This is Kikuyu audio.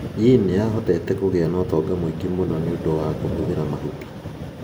Yin nĩ ahotete kũgĩa na ũtonga mũingĩ mũno nĩ ũndũ wa kũhũthĩra mahuti.